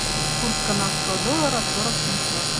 курс канадского доллара сорок семьсот